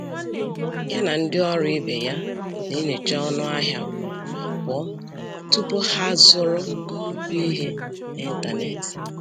Ya na ndị ọrụ ibe ya na-enyocha ọnụ ahịa ugboro abụọ tupu ha zụrụ nnukwu ihe n'ịntanetị.